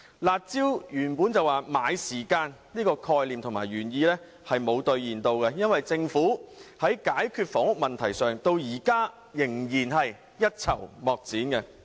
"辣招"的原意是買時間，但這並沒有兌現，政府在解決房屋問題上至今仍是一籌莫展。